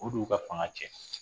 O de y'u ka fanga tiɲɛn